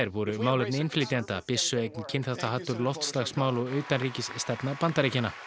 voru málefni innflytjenda byssueign kynþáttahatur loftslagsmál og utanríkisstefna Bandaríkjanna